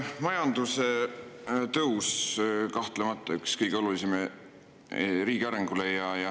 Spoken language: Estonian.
Majanduse tõus on kahtlemata üks kõige olulisemaid asju riigi arengu mõttes.